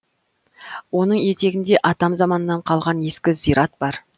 оның етегінде атам заманнан қалған ескі зират бар